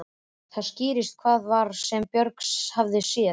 Þá skýrðist hvað það var sem Björgvin hafði séð.